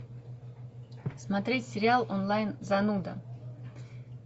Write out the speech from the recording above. смотреть сериал онлайн зануда